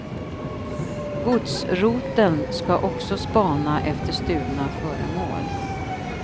Godsroteln ska också spana efter stulna föremål.